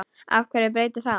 Og hverju breytir það?